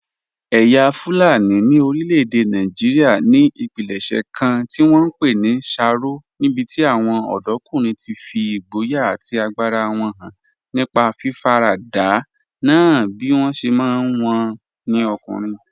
Ẹ̀yà Fulani ní orílẹ̀-èdè Nàìjíríà ní ìpilẹ̀ṣẹ̀ kan tí wọ́n ń pè ní sharo, níbi tí àwọn ọ̀dọ́kùnrin ti fi ìgboyà àti agbára wọn hàn nípa fífaradà nà án bí wọ́n ṣe mọ̀ wọ́n sí ọkùnrin.